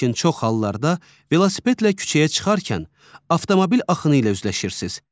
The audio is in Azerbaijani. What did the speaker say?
Lakin çox hallarda velosipedlə küçəyə çıxarkən avtomobil axını ilə üzləşirsiz.